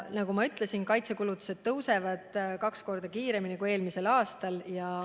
Nagu ma ütlesin, kaitsekulutused suurenevad kaks korda kiiremini kui eelmisel aastal.